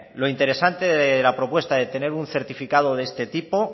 lo interesante de la propuesta de tener un certificado de este tipo